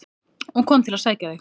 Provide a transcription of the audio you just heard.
og kom til að sækja þig.